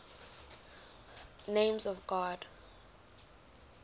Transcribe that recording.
names of god